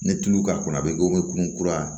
Ni tulu ka kunna a bɛ kun kura